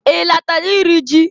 I latara iri ji?